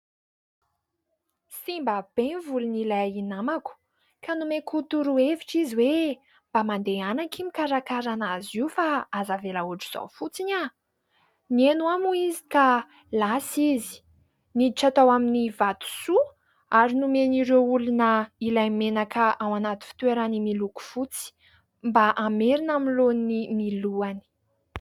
Simba be ny volon'ilay namako ka nomeko toro-hevitra izy hoe: " mba mandehana akia mikarakara an'azy io fa aza avela ohatr'izao fotsiny". Nihaino ahy moa izy ka lasa izy niditra tao amin'ny vatosoa ary nomen'ireo olona ilay menaka ao anaty fitoerany miloko fotsy mba hamerina amin'ny laoniny ny lohany.